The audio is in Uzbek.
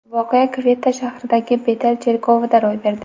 Voqea Kvetta shahridagi Betel cherkovida ro‘y berdi.